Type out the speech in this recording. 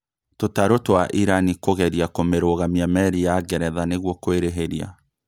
Tũtarũ twa Irani kũgeria kũmĩrũgamia merĩ ya Ngeretha nĩgũo kũĩrĩhĩria